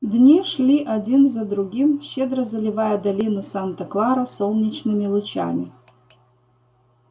дни шли один за другим щедро заливая долину санта клара солнечными лучами